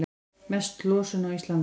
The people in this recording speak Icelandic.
Mest losun á Íslandi